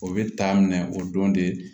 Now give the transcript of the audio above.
O bɛ taa minɛ o don de